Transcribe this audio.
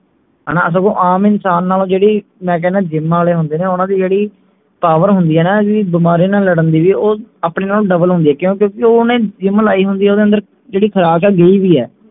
ਹਣਾ ਸਗੋਂ ਆਮ ਇਨਸਾਨ ਨਾਲੋਂ ਜਿਹੜੀ ਮੈਂ ਕਹਿਣੇ ਜੀਮਾਂ ਆਲੇ ਹੁੰਦੇ ਨੇ ਓਹਨਾ ਦੀ ਜਿਹੜੀ power ਹੁੰਦੀ ਹੈ ਨਾ ਜਿਹੜੀ ਬਿਮਾਰੀਆਂ ਨਾਲ ਲੜਨ ਦੀ ਵੀ ਉਹ ਆਪਣੇ ਨਾਲੋਂ double ਹੁੰਦੀ ਹੈ ਕਿਉਂ ਕਿਓਂਕਿ ਓਹਨੇ gym ਲਾਈ ਹੁੰਦੀ ਹੈ ਓਹਨਾ ਦੀ ਜਿਹੜੀ ਖੁਰਾਕ ਹੈ ਉਹ ਹੋਈ ਹੈ